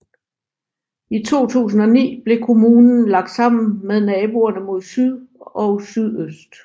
I 2009 blev kommunen lagt sammen med naboerne mod syd og sydøst